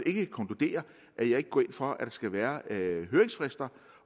ikke konkludere at jeg ikke går ind for at der skal være høringsfrister